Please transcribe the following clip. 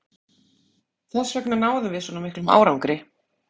Þessvegna náðum við svona miklum árangri.